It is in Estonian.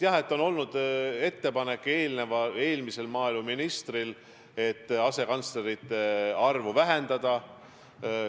Jah, eelmisel maaeluministril oli ettepanek asekantslerite arvu vähendada.